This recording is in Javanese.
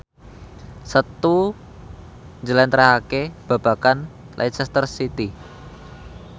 Setu njlentrehake babagan Leicester City